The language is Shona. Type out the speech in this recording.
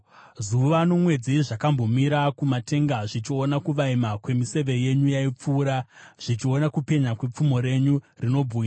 Zuva nomwedzi zvakambomira kumatenga zvichiona kuvaima kwemiseve yenyu yaipfuura, zvichiona kupenya kwepfumo renyu rinobwinya.